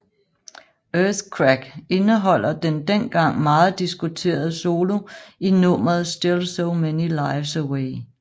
Earthquake indeholder den dengang meget diskuterede solo i nummeret Still so many lives away